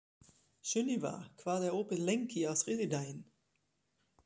Sunniva, hvað er opið lengi á þriðjudaginn?